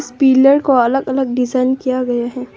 इस पिलर को अलग अलग डिजाइन किया गया है।